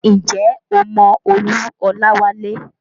Ǹjẹ́ o mọ Olú Olawale?